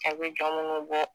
Aw bɛ minnu bɔ